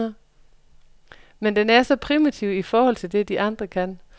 Men den er så primitiv i forhold til det, de andre kan.